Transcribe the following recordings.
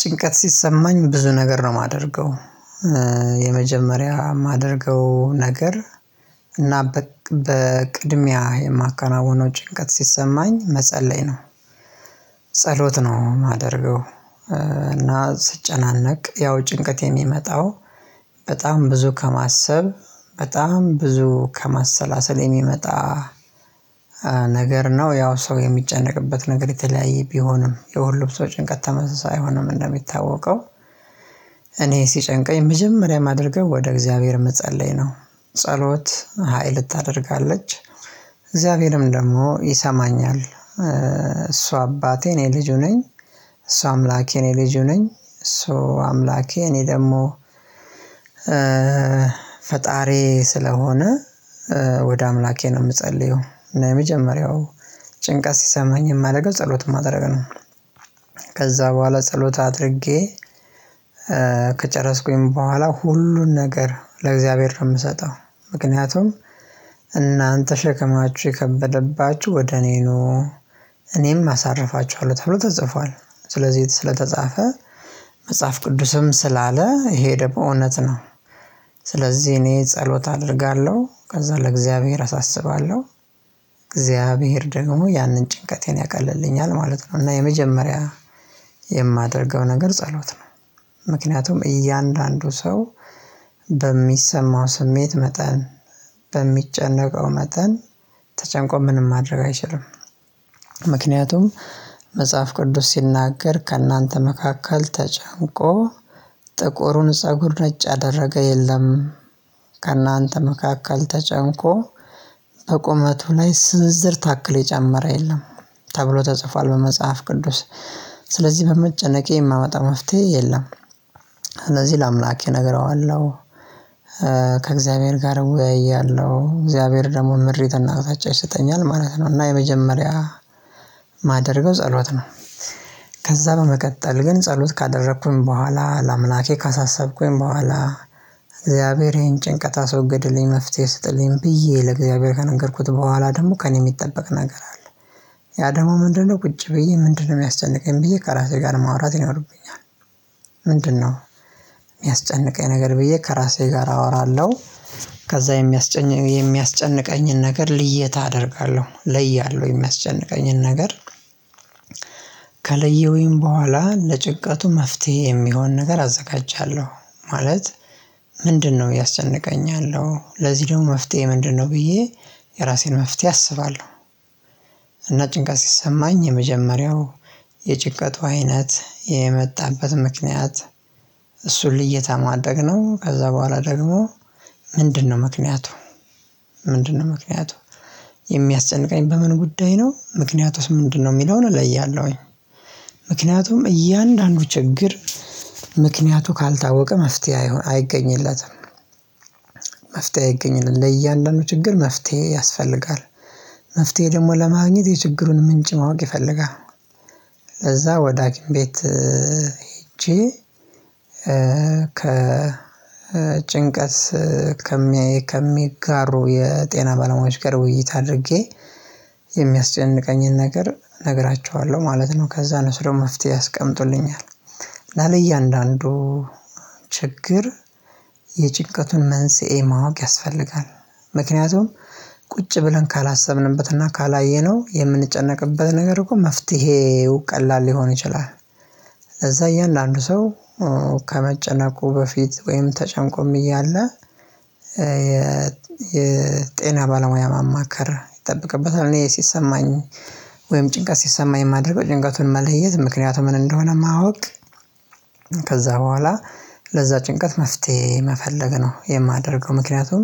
ጭንቀት ሲሰማኝ ብዙ ነገር ነው ማደርገው የመጀመሪያ ማደርገው ነገር እና በቅድሚያ የማከናውነው ጭንቀት ሲሰማኝ መጸለይ ነው። ጸሎት ነው ማደርገው። እና ስጨናነቅ ያው ጭንቀት የሚመጣው በጣም ብዙ ከማሰብ በጣም ብዙ ከማሰላሰል የሚመጣ። ነገር ነው ያው ሰው የሚጨነቅበት ነገር የተለያየ ቢሆንም የሁሉም ሰው ጭንቀት ተመሳሳይ አይሆንም እንደሚታወቀው። እኔ ሲጨንቀኝ መጀመሪያ የማደርገው ወደ እግዚአብሔር መጸለይ ነው። ጸሎት ሀይል ታደርጋለች እግዚአብሔርም ደግሞ ይሰማኛል እሱ አባቴ እኔ ልጁ ነኝ። እሷ አምላኬ እኔ ልጁ ነኝ እሷ አምላኬ እኔ ደግሞ። ፈጣሪዬ ስለሆነ ወደ አምላኬ ነው የምጸልየው። እና የመጀመሪያው ጭንቀት ሲሰማኝ የማደርገው ጸሎት ማድረግ ነው። ከዛ በኋላ ጸሎት አድርጌ ከጨረስኩኝ በኋላ ሁሉን ነገር ለእግዚአብሔር ነው ምሰጠው። ምክንያቱም እናንተ ሸክማችሁ የከበደባችሁ ወደ እኔ ኑ እኔም አሳርፋችኋለሁ ተብሎ ተጽፏል። ስለዚህ ስለተጻፈ መጽሐፍ ቅዱስም ስላለ ሄደ በእውነት ነው። ስለዚህ እኔ ጸሎት አደርጋለሁ ከዛ ለእግዚአብሔር አሳስባለሁ። እግዚአብሔር ደግሞ ያንን ጭንቀቴን ያቀልልኛል ማለት ነው። እና የመጀመሪያ የማደርገው ነገር ጸሎት ነው። ምክንያቱም እያንዳንዱ ሰው በሚሰማው ስሜት መጠን በሚጨነቀው መጠን ተጨንቆ ምንም ማድረግ አይችልም። ምክንያቱም መጽሐፍ ቅዱስ ሲናገር ከእናንተ መካከል ተጨንቆ ጥቁሩን ፀጉር ነጭ አደረገ የለም። ከእናንተ መካከል ተጨንቆ በቁመቱ ላይ ስንዝርዝር ታክል የጨመረ የለም። ተብሎ ተጽፏል በመጽሐፍ ቅዱስ። ስለዚህ በመጨነቄ የማመጣ መፍትሄ የለም። እነዚህ ለአምላኬ እነግረዋለሁ። ከእግዚአብሔር ጋር እወያያለሁ እግዚአብሔር ደግሞ ምድር የተናገረች ይሰጠኛል ማለት ነው። እና የመጀመሪያ የማደርገው ጸሎት ነው። ከዛ በመቀጠል ግን ጸሎት ካደረኩኝ በኋላ ላምላኬ ካሳሰብኩኝ በኋላ እግዚአብሔር ይሄን ጭንቀት አስወግድልኝ መፍትሄ ስጥልኝ ብዬ ለእግዚአብሔር ከነገርኩት በኋላ ደግሞ ከእኔ የሚጠበቅ ነገር አለ። ያ ደግሞ ምንድነው? ቁጭ ብዬ ምንድነው የሚያስጨንቀኝ ብዬ ከራሴ ጋር ማውራት ነው ይኖርብኛል። ምንድነው? የሚያስጨንቀኝ ነገር ብዬ ከራሴ ጋር አወራለሁ። ከዛ የሚያስጨንቀኝን ነገር ልዬታ አደርጋለሁ እለያለሁ የሚያስጨንቀኝን ነገር። ከለየውኝ በኋላ ለጭንቀቱ መፍትሄ የሚሆን ነገር አዘጋጃለሁ። ማለት ምንድነው ያስጨንቀኛለው? ለዚህ ደግሞ መፍትሄ ምንድነው? ብዬ የራሴን መፍትሄ አስባለሁ። እና ጭንቀት ሲሰማኝ የመጀመሪያው የጭቀቱ አይነት የመጣበት ምክንያት እሱን ልዬታ ማድረግ ነው። ከዛ በኋላ ደግሞ ምንድነው ምክንያቱ? ምንድነው ምክንያቱ? የሚያጨንቀኝ በምን ጉዳይ ነው ምክንያቱስ ምንድነው የሚለውን እለያለሁኝ። ምክንያቱም እያንዳንዱ ችግር ምክንያቱ ካልታወቀ መፍትሄ አይገኝለትም። መፍትሄ አይገኝለትም ለእያንዳንዱ ችግር መፍትሄ ያስፈልጋል። መፍትሄ ደግሞ ለማግኘት የችግሩን ምንጭ ማወቅ ይፈልጋል። ከዛ ወደ ሀኪም ቤት። ሄጄ ከጭንቀት ከሚያይ ከሚጋሩ የጤና ባለሙያ ጋር ውይይት አድርጌ። የሚያስጨንቀኝን ነገር እነግራችኋለሁ ማለት ነው። ከዛ እነሱ ደግሞ መፍትሄ ያስቀምጡልኛል። ለ እያንዳንዱ ችግር የጭንቀቱን መንስኤ ማወቅ ያስፈልጋል። ምክንያቱም ቁጭ ብለን ካላሰብንበትና ካላየነው የምንጨነቅበት ነገር እኮ መፍትሄው ቀላል ሊሆን ይችላል። እዛ እያንዳንዱ ሰው ከመጨነቁ በፊት ወይም ተጨንቆም እያለ የ የጤና ባለሙያ ማማከር ይጠብቅበታል እኔ ሲሰማኝ ወይም ጭንቀት ሲሰማኝ የማደርገው ጭንቀቱን መለየት ምክንያቱ ምን እንደሆነ ማወቅ። ከዛ በኋላ ለዛ ጭንቀት መፍትሄ መፈለግ ነው የማደርገው። ምክንያቱም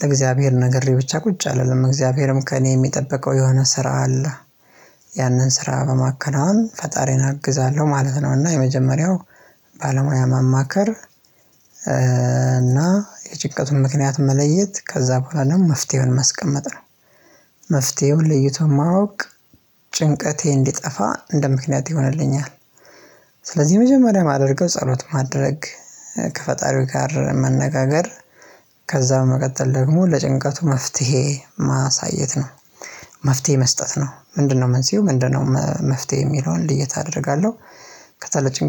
ለእግዚአብሔር ነገሬ ብቻ ቁጭ አልልም እግዚአብሔርም ከእኔ የሚጠበቀው የሆነ ስራ አለ። ያንን ስራ በማከናወን ፈጣሪን አግዛለሁ ማለት ነው። እና የመጀመሪያው ባለሙያ ማማከር እና የጭቀቱን ምክንያት መለየት ከዛ በኋላ ደግሞ መፍትሄውን ማስቀመጥ ነው። መፍትሄውን ለይቶ ማወቅ ጭንቀቴ እንዲጠፋ እንደ ምክንያት ይሆንልኛል። ስለዚህ የመጀመሪያ የማደርገው ጸሎት ማድረግ ከፈጣሪው ጋር መነጋገር ከዛ በመቀጠል ደግሞ ለጭንቀቱ መፍትሄ ማሳየት ነው። መፍትሄ መስጠት ነው ምንድነው መንስኤው ምንድነው? መፍትሄ የሚለውን ልየት አደርጋለሁ። ከሰለቸኝ